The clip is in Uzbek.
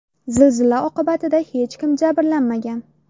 Zilzila oqibatida hech kim jabrlanmagan.